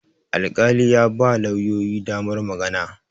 alƙali ya ba lauyoyi damar magana